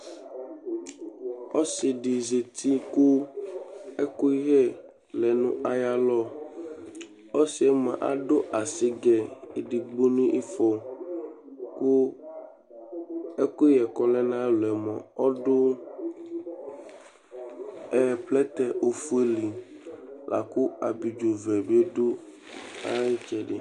ɔse di zati kò ɛkoyɛ lɛ no ayi alɔ ɔsiɛ moa ado asigɛ edigbo no ifɔ kò ɛkoyɛ k'ɔlɛ n'ayi alɔɛ moa ɔdo plɛtɛ ofue li lako abidzo vɛ bi do ay'itsɛdi